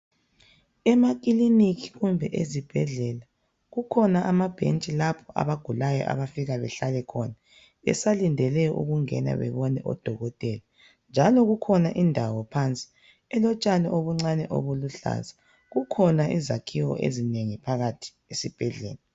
Emakiliniki kumbe ezibhedlela kukhona amabhentshi lapho abagulayo abafika behlale khona besalindele ukungena bebone odokotela njalo kukhona indawo phansi elotshani obuncane obuluhlaza kukhona izakhiwo ezinengi phakathi esibhedlela.